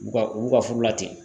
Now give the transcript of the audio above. U ka u ka furu la ten.